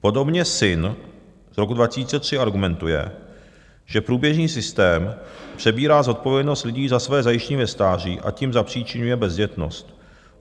Podobně Sinn z roku 2003 argumentuje, že průběžný systém přebírá zodpovědnost lidí za své zajištění ve stáří, a tím zapříčiňuje bezdětnost.